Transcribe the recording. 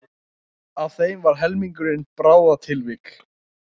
Af þeim var helmingurinn bráðatilvik